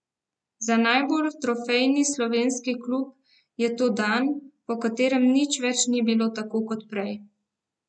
Za najbolj trofejni slovenski klub je to dan, po katerem nič več ni bilo tako kot prej.